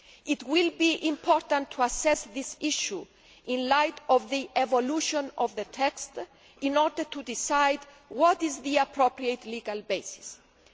It is important to assess this issue in the light of the evolution of the text, in order to decide what the appropriate legal basis